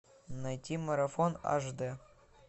найти марафон аш д